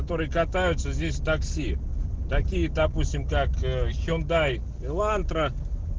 которые катаются здесь такси такие допустим как хендай елантра